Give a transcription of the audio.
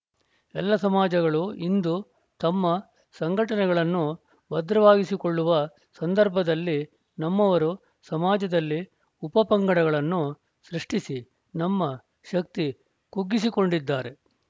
ಎಲ್ಲ ಸಮಾಜಗಳು ಇಂದು ತಮ್ಮ ಸಂಘಟನೆಗಳನ್ನು ಭದ್ರವಾಗಿಸಿಕೊಳ್ಳುವ ಸಂದರ್ಭದಲ್ಲಿ ನಮ್ಮವರು ಸಮಾಜದಲ್ಲಿ ಉಪ ಪಂಗಡಗಳನ್ನು ಸೃಷ್ಟಿಸಿ ನಮ್ಮ ಶಕ್ತಿ ಕುಗ್ಗಿಸಿಕೊಂಡಿದ್ದಾರೆ